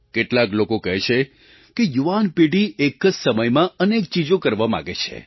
કેટલાક લોકો કહે છે કે યુવાન પેઢી એક જ સમયમાં અનેક ચીજો કરવા માગે છે